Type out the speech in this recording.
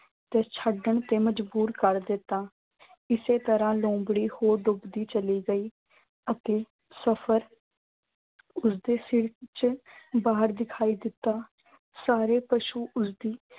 ਤੇ ਛੱਡਣ ਤੇ ਮਜਬੂਰ ਕਰ ਦਿੱਤਾ। ਇਸੇ ਤਰ੍ਹਾਂ ਲੂੰਬੜੀ ਹੋਰ ਡੁੱਬਦੀ ਚਲੀ ਗਈ ਅਤੇ ਸਫ਼ਰ ਉਸਦੇ ਸਿਰ ਚ ਬਾਹਰ ਦਿਖਾਈ ਦਿੱਤਾ। ਸਾਰੇ ਪਸ਼ੂ ਉਸਦੀ